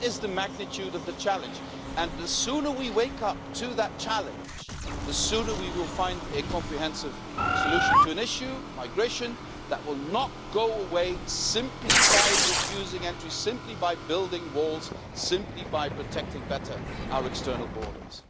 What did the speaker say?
That is the magnitude of the challenge, and the sooner we wake up to that challenge, the sooner we will find a comprehensive solution to an issue, migration, that will not go away simply by refusing entry, simply by building walls, simply by protecting better our external borders.